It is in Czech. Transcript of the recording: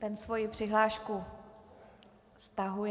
Ten svoji přihlášku stahuje.